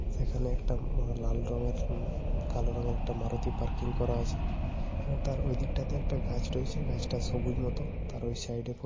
সেখানে একটা ম লাল রঙের মম কালো রঙের একটা মারুতি পার্কিং করা আছে এবং তার ওই দিকটাতে একটা গাছ রয়েছে। গাছটা সবুজ মত। তার ওই সাইডে ফো --